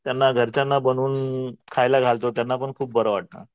त्यांना घरच्यांना बनवून खायला घालतो त्यांना पण खूप बरं वाटतं.